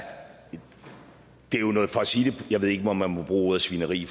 det er jo noget for at sige det jeg ved ikke om man må bruge ordet svineri